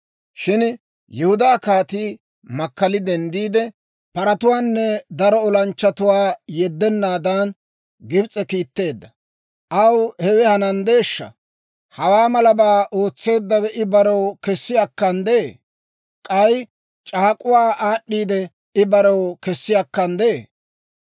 Shin Yihudaa kaatii makkali denddiide, paratuwaanne daro olanchchatuwaa yeddanaadan, Gibs'e kiitteedda. Aw hewe hananddeeshsha? Hawaa malabaa ootseeddawe I barew kessi akkanddee? K'ay c'aak'uwaa aad'd'iidde, I barew kessi akkanddee?